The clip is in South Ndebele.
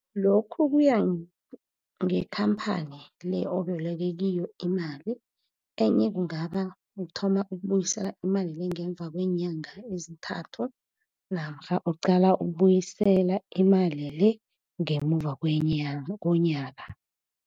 Lokhu kuya ngekhamphani le oboleke kiyo imali, enye kungaba kuthoma ukubuyisela imali le ngemva kweenyanga ezithathu, namkha uqala ukubuyisela imali le ngemuva komnyaka.